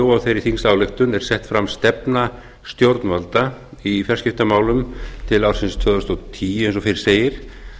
og þeirri þingsályktun er sett fram stefna stjórnvalda í fjarskiptamálum til ársins tvö þúsund og tíu eins og fyrr segir